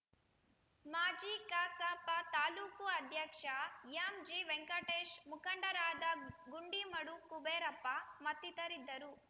ಮಾಜಿ ಕಸಾಪ ತಾಲೂಕು ಅಧ್ಯಕ್ಷ ಎಂಜಿವೆಂಕಟೇಶ್‌ ಮುಖಂಡರಾದ ಗುಂಡಿಮಡು ಕುಬೇರಪ್ಪ ಮತ್ತಿತರರಿದ್ದರು